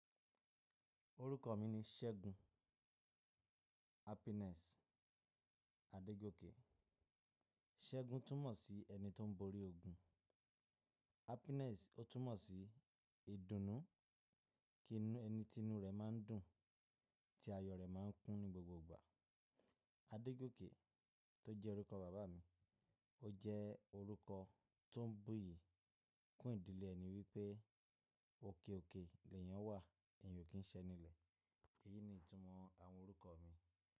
Orúkọ mi ni Ṣẹ́gun Happiness Adégókè. Ṣẹ́gun túmọ̀ sí ẹni tó ń borí ogun. Happiness, ó tún mọ̀ sí ìdùnnú, inu ẹni tí inú rẹ̀ máa ń dùn, tí ayọ̀ rẹ̀ máa ń kún ní gbogbo ìgbà. Adégókè tó jẹ́ orúkọ bàbá mi, ó jẹ́ orúkọ tó ń bú'yì kún ìdílé ẹni wípé òkè òkè lèyán wà, eyàn ò kí ń ṣẹ́ eni ílẹ̀. Èyí ni ìtumọ̀ àwọn orúkọ mi.